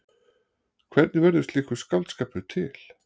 Hvernig verður slíkur skáldskapur til?